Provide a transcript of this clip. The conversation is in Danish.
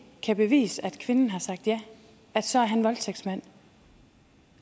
kan bevise at kvinden har sagt ja så er han voldtægtsmand